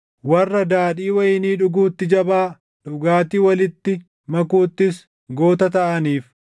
Warra daadhii wayinii dhuguutti jabaa, dhugaatii walitti makuuttis goota taʼaniif,